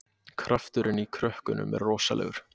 Krafturinn í krökkunum er rosalegur